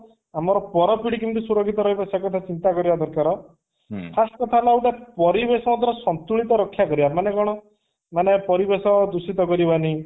ଆମର ପର ପୀଢି କେମିତେ ସୁରକ୍ଷିତ ରହିବ ସେ କଥା ଚିନ୍ତା କରିବା ଦରକାର first କଥା ହେଲା ଗୋଟେ ପରିବେଶ ଉପରେ ସନ୍ତୁଳିତ ରକ୍ଷା କରିବା ମାନେ କଣ ପରିବେଶ ଦୂଷିତ କରିବା ନି